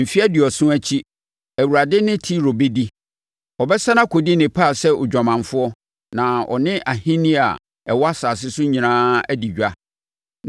Mfeɛ aduɔson akyi, Awurade ne Tiro bɛdi. Ɔbɛsane akɔdi ne paa sɛ odwamanfoɔ na ɔne ahennie a ɛwɔ asase so nyinaa adi dwa.